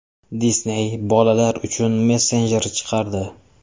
Disney bolalar uchun messenjer chiqardi.